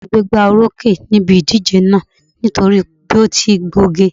Ọ̀rẹ́ mi gbégbóorókè níbi ìdíje náà nítorí bí ó ti gbóge